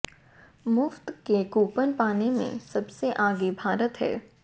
मुफ्त के कूपन पाने में सबसे आगे भारत है